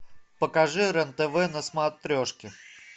покажи рен тв на смотрешке